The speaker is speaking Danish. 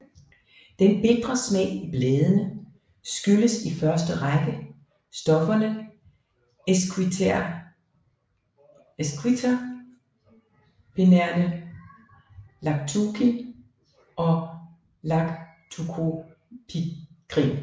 Den bitre smag i bladene skyldes i første række stofferne esquiterpenerne lactucin og lactucopikrin